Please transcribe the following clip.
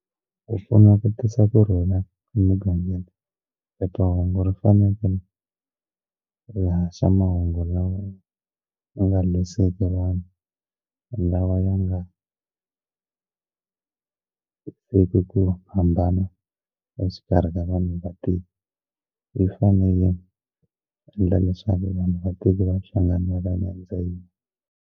Ku pfuna ku tisa kurhula emugangeni phephahungu ri fanekele ri haxa mahungu lawa ma nga lwisiki vanhu lawa ya nga ku hambana exikarhi ka vanhu vatirhi yi fanele yi endla leswaku vanhu vativiwa hlangana yini.